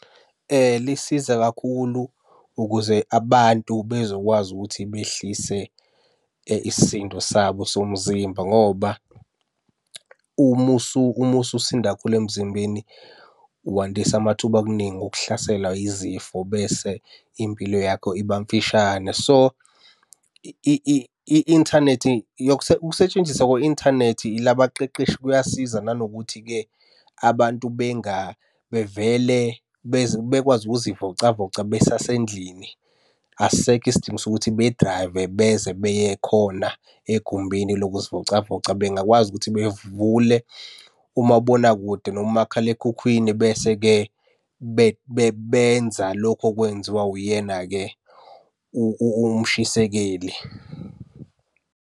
Lisiza kakhulu ukuze abantu bezokwazi ukuthi behlise isisindo sabo somzimba ngoba umususinda kakhulu emzimbeni wandisa amathuba okuningi okuhlaselwa yizifo bese impilo yakho iba mfishane. So, i-inthanethi ukusetshenziswa kwe-inthanethi ila abaqeqeshi kuyasiza nanokuthi-ke abantu bevele bekwazi ukuzivocavoca besasendlini. Asisekho isidingo sokuthi bedrayive beze beye khona egumbini lokuzivocavoca. Bengakwazi ukuthi bevule umabonakude noma umakhalekhukhwini, bese-ke benza lokhu okwenziwa uyena-ke umshisekeli.